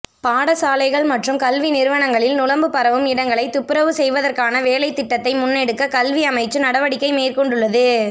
பாடசாலைகள் மற்றும் கல்வி நிறுவனங்களில் நுளம்பு பரவும் இடங்களைத் துப்பரவு செய்வதற்கான வேலைத்திட்டத்தை முன்னெடுக்க கல்வி அமைச்சு நடவடிக்கை மேற்கொண்டுள்ளது